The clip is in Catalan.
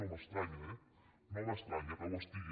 no m’estranya eh no m’estranya que ho estigui